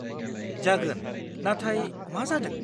-जागोन, नाथाय मा जादों?